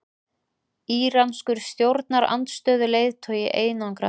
Íranskur stjórnarandstöðuleiðtogi einangraður